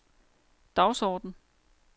dagsorden